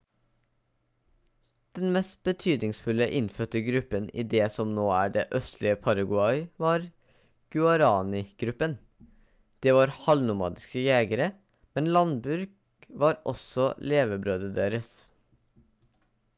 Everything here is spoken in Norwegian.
den mest betydningsfulle innfødte gruppen i det som nå er det østlige paraguay var guaraní-gruppen de var halvnomadiske jegere men landbruk var også levebrødet deres